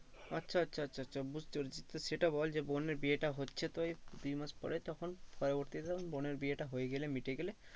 আচ্ছা আচ্ছা আচ্ছা বুঝতে পেরেছি তো সেটা বল যে বোনের বিয়েটা হচ্ছে তো এই দুই মাস পরে তখন পরবর্তীতে তখন বোনের বিয়েটা হয়ে গেলে মিটে গেলে